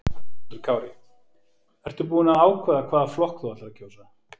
Höskuldur Kári: Ertu búin að ákveða hvaða flokk þú ætlar að kjósa?